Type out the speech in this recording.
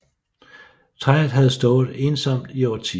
Træet havde stået ensomt i årtier